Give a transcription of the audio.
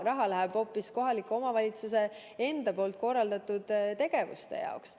Raha läheb hoopis kohaliku omavalitsuse enda korraldatud tegevuste jaoks.